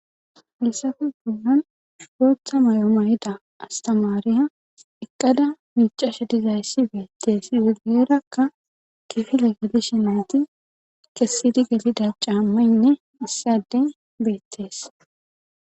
haysape bollan boota mayo mayida astamaariya eqqada miiccashe dizayssi beetes;izi guyerakka kifile gelishe nayti kessidi gelida caammaynne issi addey beettes.